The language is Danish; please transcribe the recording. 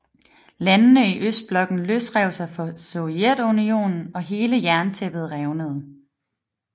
Landene i østblokken løsrev sig fra Sovjetunionen og hele jerntæppet revnede